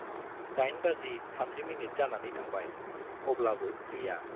दाइन बाजि थामजि मिनिट जानानै थांबाय, अब्लाबो गैया।